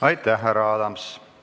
Aitäh, härra Adams!